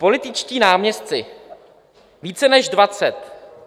Političtí náměstci - více než dvacet.